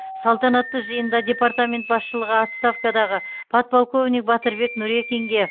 салтанатты жиында департамент басшылығы отставкадағы подполковник батырбек нурекинге